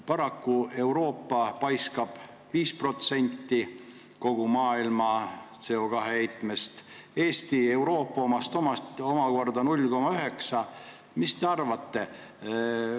Paraku paiskab Euroopa õhku 5% kogu maailma CO2 heitmest, Eesti Euroopa omast omakorda 0,9%.